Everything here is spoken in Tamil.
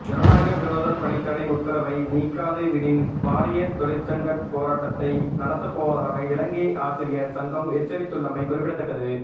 ஜனநாயக விரோத பணித்தடை உத்தரவை நீக்காது விடின் பாரிய தொழிற்சங்க போராட்டத்தை நடத்தப்போவதாக இலங்கை ஆசிரியர் சங்கம் எச்சரித்துள்ளமை குறிப்பிடத்தக்கது